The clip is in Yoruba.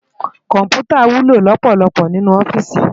Kòmpútá wúló lòpòlòpò ninú òfìsí